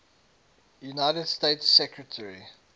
united states secretary